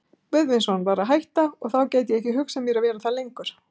Guðvinsson var að hætta, og þá gat ég ekki hugsað mér að vera þar lengur.